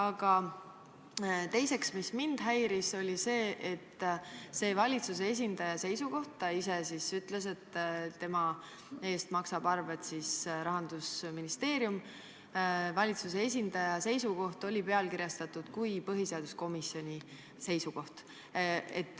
Ja teiseks, mind häiris see, et valitsuse esindaja seisukoht – ta ise ütles, et tema eest maksab Rahandusministeerium – oli pealkirjastatud kui põhiseaduskomisoni seisukoht.